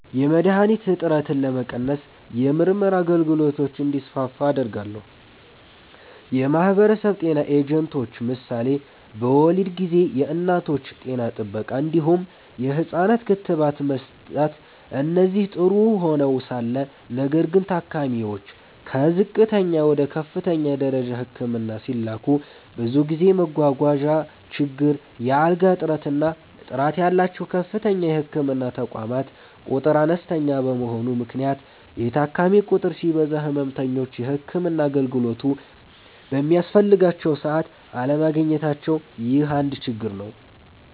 .የመድሀኒት እጥረትን ለመቀነስ የምርመራ አገልግሎቶች እንዲስፋፉ አደርጋለሁ። .የማህበረሰብ ጤና ኤጀንቶች ምሳሌ በወሊድ ጊዜ የእናቶች ጤና ጥበቃ እንዲሁም የህፃናት ክትባት መስጠት እነዚህ ጥሩ ሆነዉ ሳለ ነገር ግን ታካሚዎች ከዝቅተኛ ወደ ከፍተኛ ደረጃ ህክምና ሲላኩ ብዙ ጊዜ መጓጓዣ ችግር፣ የአልጋ እጥረት እና ጥራት ያላቸዉ ከፍተኛ የህክምና ተቋማት ቁጥር አነስተኛ በመሆኑ ምክንያት የታካሚ ቁጥር ሲበዛ ህመምተኞች የህክምና አገልግሎቱ በሚያስፈልጋቸዉ ሰዓት አለማግኘታቸዉ ይህ አንድ ችግር ነዉ።